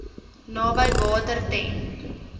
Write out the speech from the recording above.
naby water ten